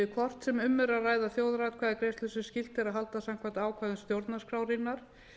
hvort sem um er að ræða þjóðaratkvæðagreiðslu sem skylt er að halda samkvæmt ákvæðum stjórnarskrárinnar